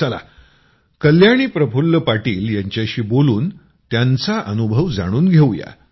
चला कल्याणी प्रफुल्ल पाटील यांच्याशी बोलून त्यांचा अनुभव जाणून घेऊया